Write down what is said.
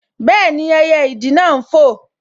Bẹ́ẹ̀ni, ẹyẹ ìdì náà n fò